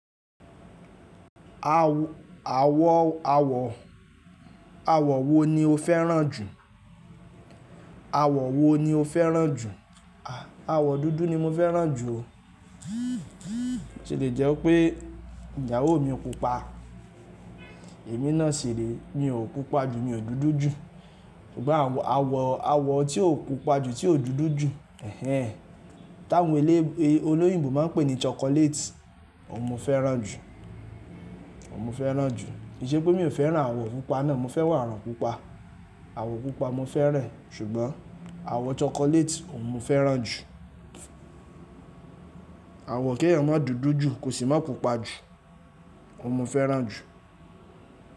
Àwọ̀, àwọ̀, àwọ̀ wo ni o fẹ́ràn jù? Àwọ̀ wo ni o fẹ́ràn jù? Àwọ̀ dúdú ni mo fẹ́ràn jù o. Ṣé lè jẹ́ pé ìyàwó mi pupa? Èmi náà ṣìre, mi ò pupa jù, mi ò dúdú jù. Ṣùgbọ́n àwọ̀, àwọ̀ tí ò pupa jù, tí ò dúdú jù, ẹhẹn, táwọn elé olóyìnbo máa ń pè ní chocolate òun mo fẹ́ràn jù, òun mo fẹ́ràn jù. Kí n ṣe pé mi ò fẹ́ràn àwọ̀ pupa náà, mo fẹ́ràn àwọ̀ pupa. Àwọ̀ pupa mo fẹ́ràn, ṣùgbọ́n àwọ̀ chocolate òun mo fẹ́ràn jù. Àwọ̀ kí èèyàn má dúdú jù, kò sì máa pupa jù, òun mo fẹ́ràn jù.